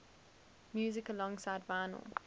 music alongside vinyl